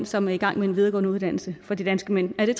som er i gang med en videregående uddannelse for de danske mænd er